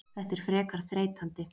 Þetta er frekar þreytandi.